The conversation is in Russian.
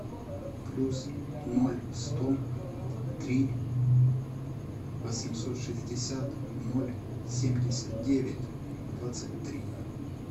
плюс ноль сто три восемьсот шестьдесят ноль семьдесят девять двадцать три